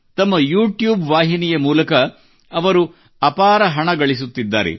ತಮ್ಮ ಯೂಟ್ಯೂಬ್ ವಾಹಿನಿಯ ಮೂಲಕ ಅವರು ಅಪಾರ ಹಣ ಗಳಿಸುತ್ತಿದ್ದಾರೆ